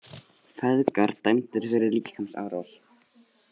Feðgar dæmdir fyrir líkamsárás